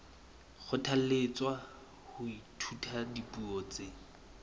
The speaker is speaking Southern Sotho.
kgothalletswa ho ithuta dipuo tse